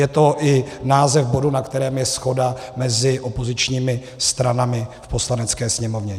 Je to i název bodu, na kterém je shoda mezi opozičními stranami v Poslanecké sněmovně.